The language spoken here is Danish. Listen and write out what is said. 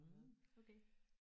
Mhm okay